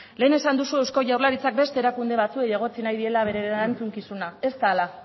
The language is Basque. lehen esan duzu eusko jaurlaritzak beste erakunde batzuei egotzi nahi diela beren erantzukizuna ez da hala